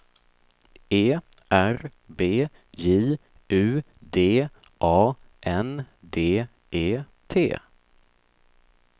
E R B J U D A N D E T